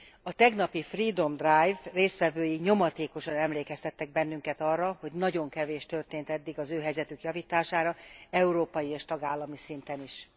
A tegnapi Freedom Drive résztvevői nyomatékosan emlékeztettek bennünket arra, hogy nagyon kevés történt eddig az ő helyzetük javítására, európai és tagállami szinten is.